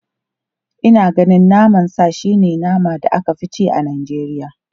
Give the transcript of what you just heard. Ina ganin naman sa shi ne naman da aka fi ci a Najeriya.